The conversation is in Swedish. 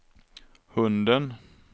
hunden